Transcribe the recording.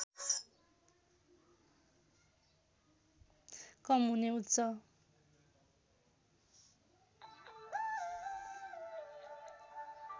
कम हुने उच्च